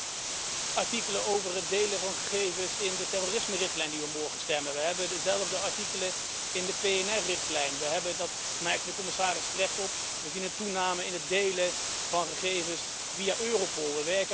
We hebben de artikelen over het delen van gegevens in de terrorismerichtlijn waarover we morgen stemmen. We hebben dezelfde artikelen in de PNR richtlijn. We zien dat merkte de Commissaris terecht op een toename in het delen van gegevens via Europol.